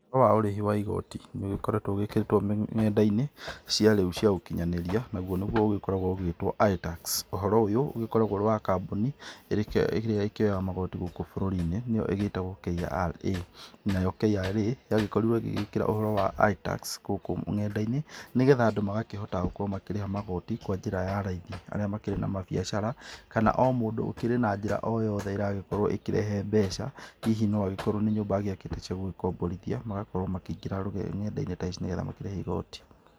Ũhoro wa ũrĩhi wa igoti, nĩũgĩkoretwo ũgĩkĩrĩtwo nenda-inĩ cia rĩu cia ũkinyanĩria, nagũo nĩguo ũkoragwo ũgitwo iTax. Ũhoro ũyũ, ũgĩkoragwo ũrĩ wa kambũni ĩrĩa ĩkĩoyaga magoti gũkũ bũrũrinĩ nĩo ĩgĩtagwo KRA. Nayo KRA, yagĩkorirwo ĩgĩgĩkĩra ũhoro wa iTax gũkũ ng'enda-inĩ, nĩgetha Andũ magakĩhota gũkorwo makĩrĩha magoti kwa njĩra ya raithi. Arĩa makĩrĩ na mabiacara, kana o mũndũ ũkĩrĩ na njĩra o yothe ĩragĩkorwo ĩkĩrehe mbeca. Hihi noagĩkorwo nĩ nyũmba agĩakĩte cia gũgĩkomborithia, magakorwo makĩingĩra n'endainĩ ta ici nĩgetha makĩrĩhe igoti.